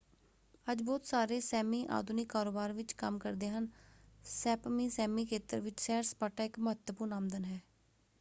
ਅੱਜ ਬਹੁਤ ਸਾਰੇ ਸੈਮੀ ਆਧੁਨਿਕ ਕਾਰੋਬਾਰ ਵਿੱਚ ਕੰਮ ਕਰਦੇ ਹਨ। ਸੈਪਮੀ ਸੈਮੀ ਖੇਤਰ ਵਿੱਚ ਸੈਰ-ਸਪਾਟਾ ਇੱਕ ਮਹੱਤਵਪੂਰਨ ਆਮਦਨ ਹੈ।